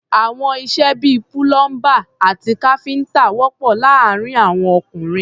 Àwọn iṣẹ́ bí i púlọ́ḿbà àti káfíńtà wọ̀pọ̀ láàárín àwọn ọkùnrin.